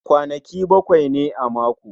Kwanaki baƙwai ne a mako